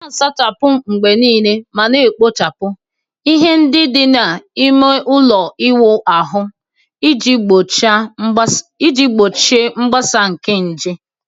Na-asachapụ mgbe niile ma na-ekpochapụ ihe ndị dị n'ime ime ụlọ ịwụ ahụ iji gbochie mgbasa nke nje.